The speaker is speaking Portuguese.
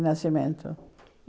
O nascimento.